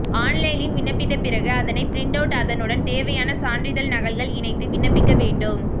ஆன்லைனில் விண்ணப்பித்த பிறகு அதனை பிரிண்ட் அவுட் அதனுடன் தேவையான சான்றிதழ் நகல்கள் இணைத்து விண்ணப்பிக்க வேண்டும்